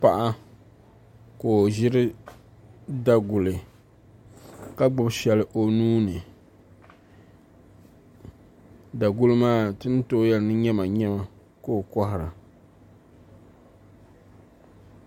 Paɣa ka o ʒiri daguli ka gbubi shɛli o nuuni daguli maa ti ni tooi yɛli ni nyɛma nyɛma ka o kohara